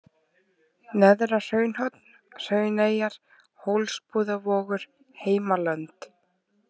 Neðra-Hraunhorn, Hrauneyjar, Hólsbúðavogur, Heimalönd